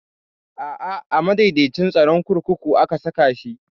A'a a madaidaicin tsaron kurkuku aka saka shi